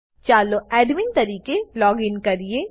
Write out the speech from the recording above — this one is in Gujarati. ચાલો એડમિન તરીકે લોગીન કરીએ